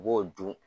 U b'o dun